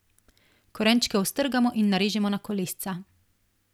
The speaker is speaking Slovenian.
Korenčke ostrgamo in narežemo na kolesca.